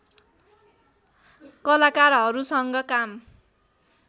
कलाकारहरूसँग काम